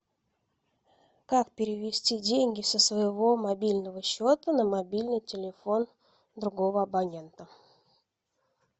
как перевести деньги со своего мобильного счета на мобильный телефон другого абонента